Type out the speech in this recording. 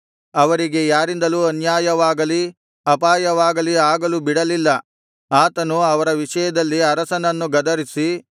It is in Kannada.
ಅವರಿಗೆ ಯಾರಿಂದಲೂ ಅನ್ಯಾಯವಾಗಲಿ ಅಪಾಯವಾಗಲಿ ಆಗಲು ಬಿಡಲಿಲ್ಲ ಆತನು ಅವರ ವಿಷಯದಲ್ಲಿ ಅರಸನನ್ನು ಗದರಿಸಿ